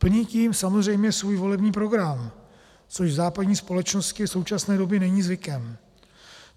Plní tím samozřejmě svůj volební program, což v západní společnosti v současné době není zvykem.